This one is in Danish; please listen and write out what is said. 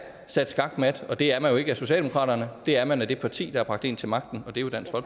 sat skakmat og det er man jo ikke af socialdemokratiet det er man af det parti der har bragt en til magten og det det